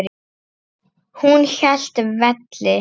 Hún hélt velli.